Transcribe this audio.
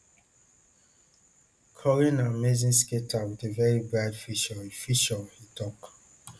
cory na amazing skater wit a very bright future e future e tok